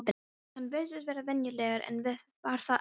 Hann virtist vera venjulegur en var það ekki.